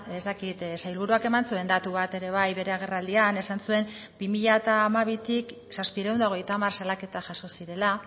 ez dakit sailburuak eman zuen datu bat ere bai bere agerraldian esan zuen bi mila hamabitik zazpiehun eta hogeita hamar salaketa jaso zirela